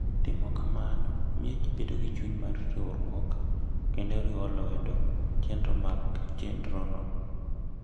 Timo kamano miyo ji bedo gi chuny mar riwruok kendo riwo lwedo chenro mag chenrono.